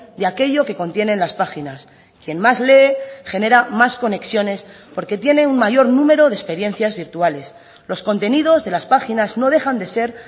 de aquello que contienen las páginas quien más lee genera más conexiones porque tiene un mayor número de experiencias virtuales los contenidos de las páginas no dejan de ser